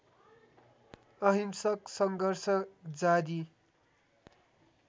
अहिंसक सङ्घर्ष जारी